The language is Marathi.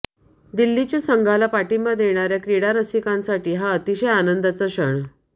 दिल्लीच्या संघाला पाठिंबा देणाऱ्या क्रीडारसिंकासाठी हा अतिशय आनंदाचा क्षण